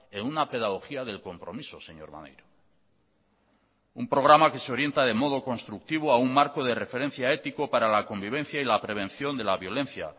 en una pedagogía del compromiso señor maneiro un programa que se orienta de modo constructivo a un marco de referencia ético para la convivencia y la prevención de la violencia